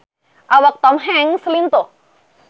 Awak Tom Hanks lintuh